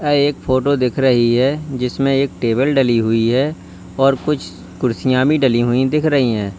यह एक फोटो दिख रही है जिसमें एक टेबल डली हुई है और कुछ कुर्सियां भी डली हुई दिख रही हैं।